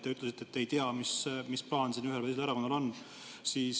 Te ütlesite, et te ei tea, mis plaan siin ühel või teisel erakonnal on.